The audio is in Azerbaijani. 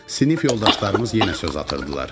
Sinif yoldaşlarımız yenə söz atırdılar.